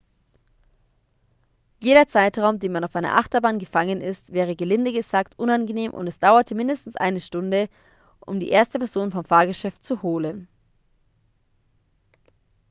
jeder zeitraum den man auf einer achterbahn gefangen ist wäre gelinde gesagt unangenehm und es dauerte mindestens eine stunde um die erste person vom fahrgeschäft zu holen